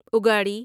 اگاڑی